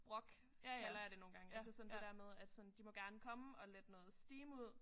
Rock kalder jeg det nogle gange altså sådan det der med at sådan de må gerne komme og lette noget steam ud